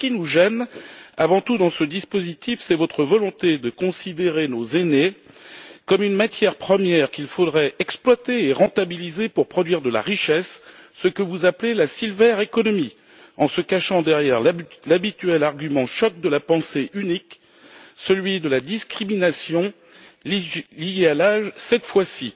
Ce qui nous gêne avant tout dans ce dispositif, c'est votre volonté de considérer nos aînés comme une matière première qu'il faudrait exploiter et rentabiliser pour produire de la richesse, ce que vous appelez l'économie des séniors, en se cachant derrière l'habituel argument choc de la pensée unique, celui de la discrimination liée à l'âge, cette fois ci.